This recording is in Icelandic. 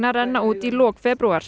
renna út í lok febrúar